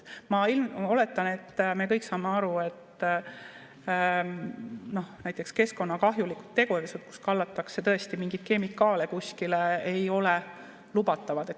Ma oletan, et me kõik saame aru, et näiteks keskkonnakahjulikud tegevused, kus kallatakse tõesti mingeid kemikaale kuskile, ei ole lubatavad.